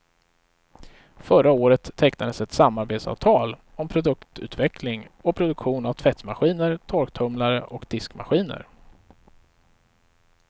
Förra året tecknades ett samarbetsavtal om produktutveckling och produktion av tvättmaskiner, torktumlare och diskmaskiner.